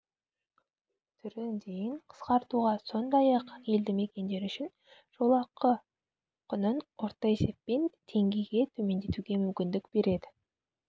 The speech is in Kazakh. түрін дейін қысқартуға сондай-ақ елді мекендер үшін жолақы құнын орта есеппен теңгеге төмендетуге мүмкіндік береді